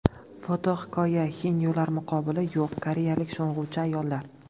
Fotohikoya: Xenyolar muqobili yo‘q koreyalik sho‘ng‘uvchi ayollar.